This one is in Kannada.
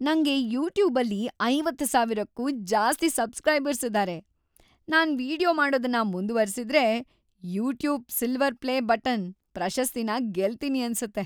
ನಂಗೆ ಯೂಟ್ಯೂಬಲ್ಲಿ ಐವತ್ತು ಸಾವಿರಕ್ಕೂ ಜಾಸ್ತಿ ಸಬ್ಸ್‌ಕ್ರೈಬರ್ಸ್‌ ಇದಾರೆ. ನಾನು ವೀಡಿಯೊ ಮಾಡೋದನ್ನ ಮುಂದುವರಿಸಿದ್ರೆ, "ಯೂಟ್ಯೂಬ್ ಸಿಲ್ವರ್ ಪ್ಲೇ ಬಟನ್" ಪ್ರಶಸ್ತಿನ ಗೆಲ್ತೀನಿ ಅನ್ಸತ್ತೆ.